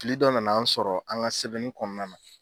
Fili dɔ nana an sɔrɔ an ka sɛbɛnni kɔnɔna na.